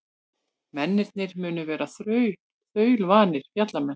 Mennirnir munu vera þaulvanir fjallamenn